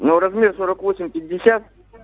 но размер сорок восемь пятьдесят